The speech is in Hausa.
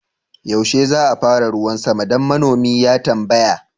yaushe za a fara ruwan sama? dan manomi ya tambaya